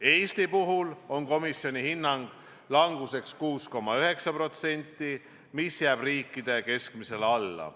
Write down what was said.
Eesti puhul hindab komisjon languseks 6,9%, mis jääb riikide keskmisele alla.